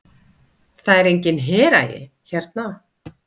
Það er enginn heragi hérna?